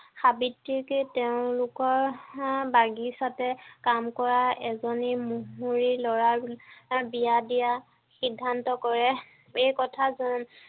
সাবিত্ৰীকে তেওঁ লোকৰ চাহ বাগিচাতে কাম কৰা এজনী মহৰীৰ ল'ৰা তাক বিয়া দিয়া সিদ্ধান্ত কৰে এই কথা